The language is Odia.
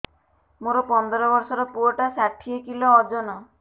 ମୋର ପନ୍ଦର ଵର୍ଷର ପୁଅ ଟା ଷାଠିଏ କିଲୋ ଅଜନ